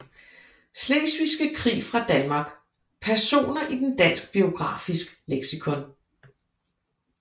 Slesvigske Krig fra Danmark Personer i Dansk Biografisk Leksikon